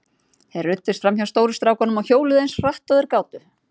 Þeir ruddust fram hjá stóru strákunum og hjóluðu eins hratt og þeir gátu.